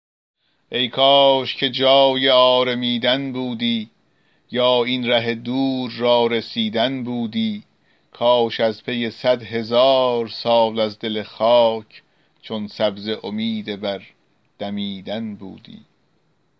ای کاش که جای آرمیدن بودی یا این ره دور را رسیدن بودی کاش از پی صد هزار سال از دل خاک چون سبزه امید بر دمیدن بودی